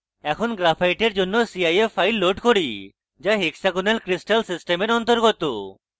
এখন graphite এর জন্য cif file load করি যা hexagonal crystal সিস্টেমের অন্তর্গত